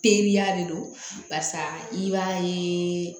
Teriya de don barisa i b'a ye